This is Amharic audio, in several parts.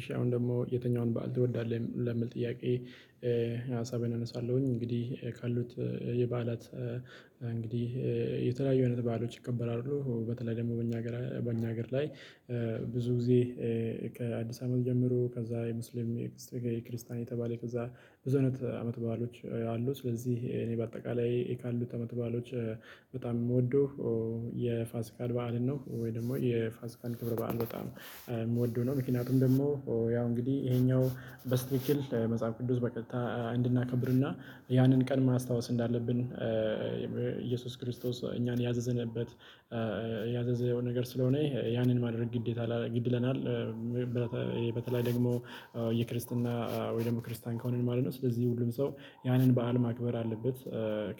እሺ አሁን ደግሞ የትኛውን በዓል ትወዳለህ ለሚል ጥያቄ? ሀሳቤን አነሳለሁኝ እንግዲህ ካሉት የበዓላት እንግዲህ የተለያዩ አይነት በዓሎች ይከበራሉ በተለይ ደግሞ በእኛ ሀገር በእኛ ሀገር ላይ። ብዙ ጊዜ ከአዲስ አመት ጀምሮ ከዛ የሙስሊም የክስ የክርስቲያን የተባለ ከዛ ብዙ አይነት አመት በዓሎች አሉ ስለዚህ እኔ በአጠቃላይ ካሉት አመት በዓሎች በጣም የምወደው የፋሲካን በዓልን ነው። ወይም ደግሞ የፋሲካን ክብር በዓል በጣም የምወደው ነው። ምክንያቱም ደግሞ ያው እንግዲህ ይሄኛው በስትትክል መጽሐፍ ቅዱስ በቀጥታ እንድናከብርና ያንን ቀን ማስታወስ እንዳለብን። ኢየሱስ ክርስቶስ እኛን ያዘዘንበት ያዘዘው ነገር ስለሆነ ያንን ማድረግ ግዴታ ግድ ይለናል። በተለይ ደግሞ የክርስትና ወይ ደግሞ ክርስቲያን ከሆነን ማለት ነው። ስለዚህ ሁሉም ሰው ያንን በዓል ማክበር አለበት።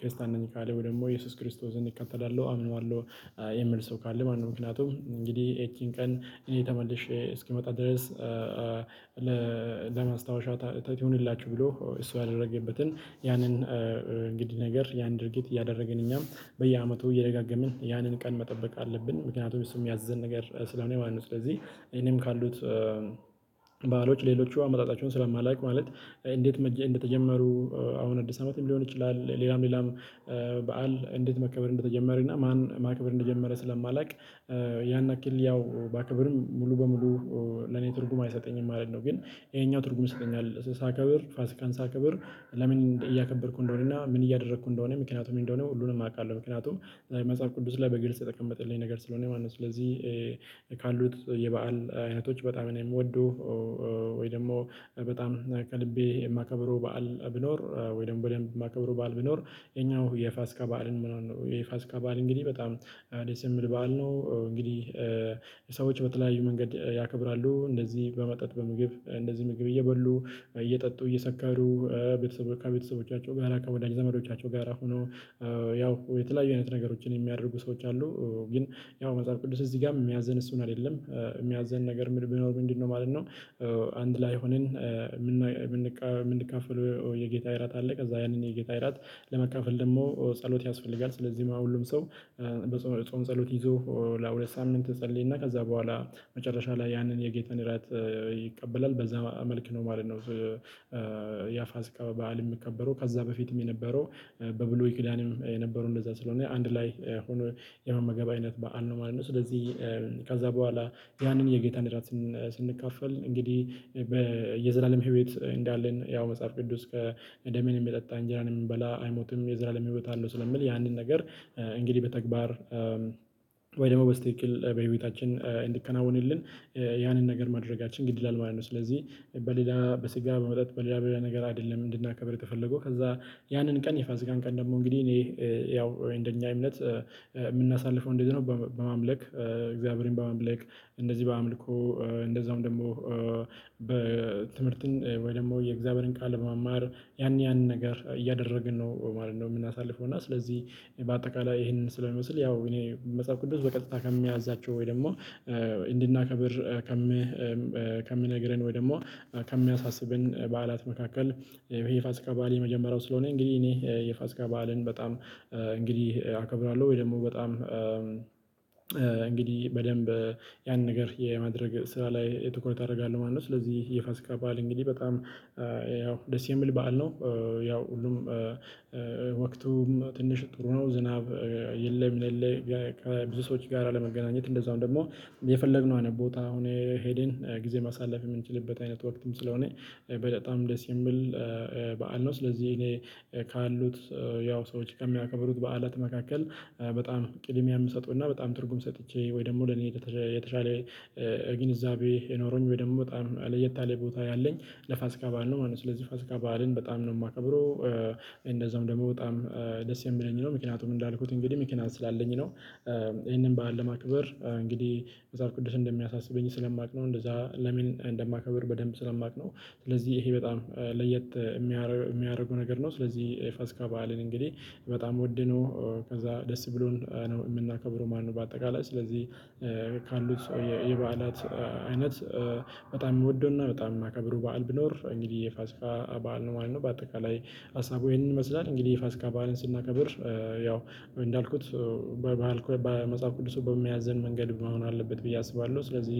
ክርስቲያን ነኝ ካለ ወይ ደግሞ ኢየሱስ ክርስቶስን እከተላለሁ አምነዋለሁ። የሚል ሰው ካለ ማለትነው። ምክንያቱም እንግዲህ ይቺን ቀን እኔ ተመልሼ እስክመጣ ድረስ። ለ ለማስታወሻ ታ ትሁንላችሁ ብሎ እሱ ያደረገበትን ያንን እንግዲህ ነገር ያን ድርጊት እያደረገን እኛም በየዓመቱ እየደጋገምን ያንን ቀን መጠበቅ አለብን ምክንያቱም እሱም የሚያዝዘን ነገር ስለሆነ ማለት ነው። ስለዚህ እኔም ካሉት። ባአሎች ሌሎቹ አመጣጣቸውን ስለማላውቅ ማለት እንዴት እንደተጀመሩ አሁን አዲስ ዓመትም ሊሆን ይችላል። ሌላም ሌላም በዓል እንዴት መከበር እንደተጀመረ እና ማን ማክብር እንደጀመረ ስለማላውቅ። ያን ያክል ያው ባከብርም ሙሉ በሙሉ ለኔ ትርጉም አይሰጠኝም ማለት ነው። ግን ይሄኛው ትርጉም ይሰጠኛል ሳከብር ፋሲካን ሳከብር ለምን እያከበርኩ እንደሆነና ምን እያደረኩ እንደሆነ ምክንያቱ ምን እንደሆነ ሁሉንም አውቃለሁ። ምክንያቱም መጽሐፍ ቅዱስ ላይ በግልጽ የተጠቀመጠልኝ ነገር ስለሆነ ማለት ነው። ስለዚህ ካሉት የበአል አይነቶች በጣም ነው የምወደው። ወይ ደግሞ በጣም ከልቤ የማከብረው በዓል ቢኖር ወይም በደንብ የማከብረው በዓል ቢኖር ይህኛው የፋስካ በዓልን ምናምን ነው የፋስካ በዓል እንግዲህ በጣም ደስ የሚል በዓል ነው። እንግዲህ ሰዎች በተለያዩ መንገድ ያከብራሉ እንደዚህ በመጠጥ በምግብ እንደዚህ ምግብ እየበሉ እየጠጡ እየሰካሩ ቤተሰብ ከቤተሰቦቻቸው ጋራ ከወዳጅ ዘመዶቻቸው ጋራ ሆነው ያው የተለያዩ አይነት ነገሮችን የሚያደርጉ ሰዎች አሉ። ግን ያው መጽሐፍ ቅዱስ እዚህ ጋርም የሚያዘን እሱን አይደለም የሚያዘን ነገር ምን ቢኖር ምንድንነው ማለት ነው? አንድ ላይ ሆነን የምን የምንቀ የምንከፋለው የጌታ እራት አለ ከዛ ያንን የጌታ ራት ለመካፈል ደግሞ ጸሎት ያስፈልጋል ስለዚህ ሁሉም ሰው በጾም ጸሎት ይዞ ለሁለት ሳምንት ይጸልይና ከዛ በኋላ መጨረሻ ላይ ያንን የጌታን ራት ይቀበላል በዛ መልክ ነው ማለት ነው። ያፋሲካ በዓል የሚከበረው ከዛ በፊትም የነበረው በብሉይኪዳንም የነበረው እንደዛ ስለሆነ አንድ ላይ ሁኖ የመመገብ አይነት በዓል ነው ማለት ነው። ስለዚህ ከዛ በኋላ ያንን የጌታ ራት ስን ስንካፈል እንግዲህ በየዘላለም ህይወት እንዳለን ያው መጽሐፍ ቅዱስ ከደሜን የሚጠጣ እንጀራን የሚበላ አይሞትም የዘላለም ህይወት አለው ስለሚል ያንን ነገር እንግዲህ በተግባር ወይ ደግሞ በትክክል በህይወታችን እንዲከናወንልን ያንን ነገር ማድረጋችን ግድ ይላል ማለት ነው። ስለዚህ በሌላ በስጋ በመጠጥ በሌላ በሌላ ነገር አይደለም እንድናከብር የተፈለገው ከዛ ያንን ቀን የፋሲካን ቀን ደግሞ እንግዲህ እኔ ያው እንደኛ እምነት የምናሳልፈው እንዴት ነው? በማምለክ እግዚአብሔርን በአማምለክ እንደዚህ በአምልኮ እንደዛውም ደግሞ በትምህርትን ወይ ደግሞ የእግዚአብሔርን ቃል በመማር ያን ያንን ነገር እያደረግን ነው ማለት ነው። የምናሳልፈው እና ስለዚህ በአጠቃላይ ይሄንን ስለሚመስል ያው እኔ መጽሐፍ ቅዱስ በቀጥታ ከሚያዛቸው ወይ ደግሞ እንድናከብር ከሚም ከሚነግረን ወይ ደግሞ ከሚያሳስበን በዓላት መካከል ይሄ የፋስካ በዓል የመጀመሪያው ስለሆነ። እንግዲህ እኔ የፋስካ በዓልን በጣም እንግዲህ አከብራለሁ ወይ ደግሞ በጣም እንግዲህ በደንብ ያን ነገር የማድረግ ስራ ላይ ትኩረት አደርጋለሁ ማለት ነው። ስለዚህ የፋስካ በዓል እንግዲህ በጣም ያው ደስ የሚል በዓል ነው። ያው ሁሉም ወቅቱም ትንሽ ጥሩ ነው ዝናብ የለም። ምን የለ ከብዙ ሰዎች ጋር አለመገናኘት እንደዛውም ደግሞ የፈለግነው አይነት ቦታ አሁን ሄደን ጊዜ ማሳለፍ የምንችልበት አይነት ወቅትም ስለሆነ በጣም ደስ የሚል በዓል ነው። ስለዚህ እኔ ካሉት ያው ሰዎች ከሚያከብሩት በዓላት መካከል በጣም ቅድሚያ የምሰጠው እና በጣም ትርጉም ሰጥቼ ወይ ደግሞ ለኔ ከ የተሻለ ግንዛቤ ኖሮኝ ወይ ደግሞ በጣም ለየት ያለ ቦታ ያለኝ ለፋሲካ በዓል ነው ማለት ነው። ስለዚህ ፋሲካ በዓልን በጣም ነው የማከብረው። እንደዛውም ደግሞ በጣም ደስ የሚለኝ ነው ምክንያቱም እንዳልኩት እንግዲህ ምክንያት ስላለኝ ነው። ይሄንን በዓል ለማክበር እንግዲህ መጽሐፍ ቅዱስ እንደሚያሳስበኝ ስለማውቅ ነው እንደዛ ለምን እንደማከብር በደንብ ስለማውቅ ነው። ስለዚህ ይሄ በጣም ለየት የሚረ የሚያደርጉ ነገር ነው። ስለዚህ የፋስካ በዓልን እንግዲህ በጣም ውድ ነው። ከዛ ደስ ብሎን ነው የምናከብረው ማለትነው። በአጠቃላይ ስለዚህ ካሉት ሰ የበዓላት አይነት በጣም የምወደውና በጣም የማከብረው በዓል ቢኖር እንግዲህ የፋስካ በዓል ነው ማለት ነው። በአጠቃላይ ሀሳቡ ይሄንን ይመስላል። እንግዲህ የፋስካ በዓልን ስናከብር ያው እንዳልኩት በ ባልኩ በመጽሐፍ ቅዱሱ በሚያዘን መንገድ መሆን አለበት ብዬ አስባለሁ ስለዚህ።